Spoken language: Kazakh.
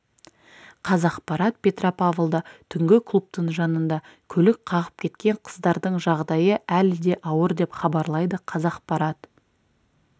қазақпарат петропавлда түнгі клубтың жанында көлік қағып кеткен қыздардың жағдайы әлі де ауыр деп хабарлайды қазақпарат